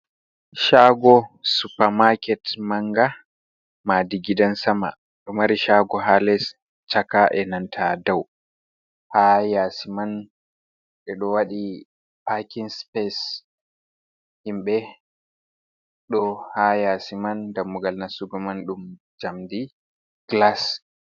Shago supermarket manga madi gidan sama, ɗo mari shago ha les, chaka, e nanta dau, ha yasi man ɓeɗo waɗi paking space, himɓɓe ɗo ha yasi man dammugal nastugo man ɗum jamdi glas.